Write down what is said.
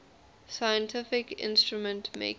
scientific instrument makers